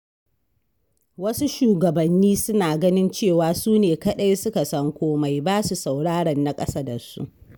Wasu shugabanni suna ganin cewa su ne kaɗai suka san komai, ba su sauraron na ƙasa da su.